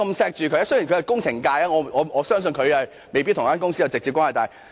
雖然他是工程界人士，但我相信他未必與這間公司有直接關係。